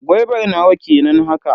Gwaibar nawa kenan haka?